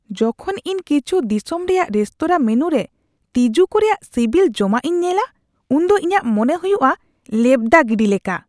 ᱡᱚᱠᱷᱚᱱ ᱤᱧ ᱠᱤᱪᱷᱩ ᱫᱤᱥᱚᱢ ᱨᱮᱭᱟᱜ ᱨᱮᱥᱛᱳᱨᱟ ᱢᱮᱱᱩᱨᱮ ᱛᱤᱡᱩ ᱠᱚ ᱨᱮᱭᱟᱜ ᱥᱤᱵᱤᱞ ᱡᱚᱢᱟᱜᱼᱤᱧ ᱧᱮᱞᱟ, ᱩᱱᱫᱚ ᱤᱧᱟᱹᱜ ᱢᱚᱱᱮ ᱦᱩᱭᱩᱜᱼᱟ ᱞᱮᱵᱫᱟ ᱜᱤᱰᱤ ᱞᱮᱠᱟ ᱾